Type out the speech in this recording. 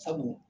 Sabu